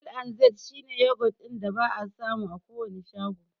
L&Z shi ne yogurt ɗin da ba'a samu a kowane shago.